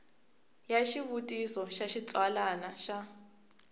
ya xivutiso xa xitsalwana xa